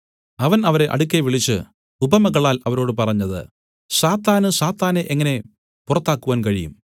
അവൻ അവരെ അടുക്കെ വിളിച്ചു ഉപമകളാൽ അവരോട് പറഞ്ഞത് സാത്താന് സാത്താനെ എങ്ങനെ പുറത്താക്കുവാൻ കഴിയും